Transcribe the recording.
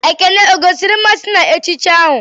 Ekene gosiri mmasị na echichi ahụ?